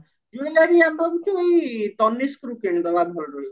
jewelry ଆମେ ଭାବୁଚୁ ଏଇ ତନିଷ୍କରୁ କିଣି ଦବା